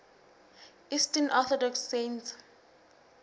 eastern orthodox saints